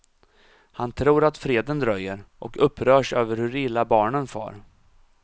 Han tror att freden dröjer, och upprörs över hur illa barnen far.